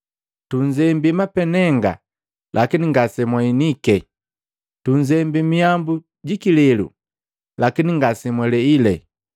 ‘Tunzembi mapenenga, lakini ngase mwahinike! Tunzembi mihambu ji kilelu, lakini ngasemwaleile!’